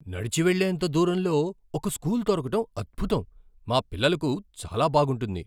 "నడిచి వెళ్ళేంత దూరంలో ఒక స్కూల్ దొరకటం అద్భుతం. మా పిల్లలకు చాలా బాగుంటుంది."